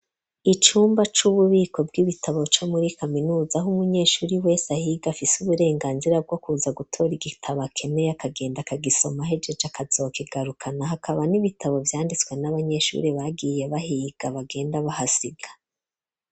Icumba c'ububiko bw'ibitabo co muri kaminuza ,h'umunyeshuri wese ahiga afise uburenganzira bwo kuza gutora igitabo akeneye ,akagenda kagisoma hejeje akazokigarukana, hakaba n'ibitabo vyanditswe n'abanyeshuri bagiye bahiga bagenda bahasiga.